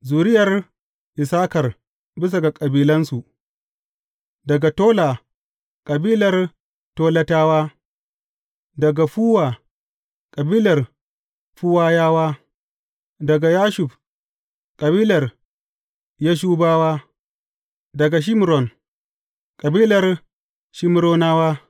Zuriyar Issakar bisa ga kabilansu, daga Tola, kabilar Tolatawa; daga Fuwa, kabilar Fuwayawa; daga Yashub, kabilar Yashubawa; daga Shimron, kabilar Shimronawa.